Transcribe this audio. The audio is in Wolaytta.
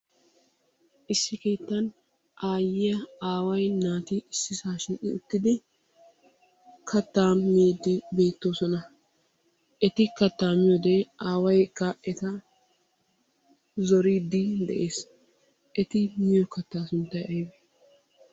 Issi keettan aaway, aayyiya, naati issisaa shiiqi uttidi kattaa miiddi beettoosona. Eti kattaa miyode aawaykka eta zoriidde de'ees. Eti miyo kattaa sunttay aybee?